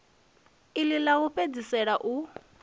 iḽi ḽa u fhedzisela u